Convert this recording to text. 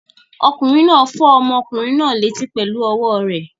Ọkùnrin náà fọ́ ọmọkùnrin náà létí pẹ̀lú ọwọ́ rẹ̀.